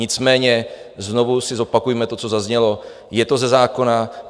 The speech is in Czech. Nicméně znovu si zopakujme to, co zaznělo, je to ze zákona.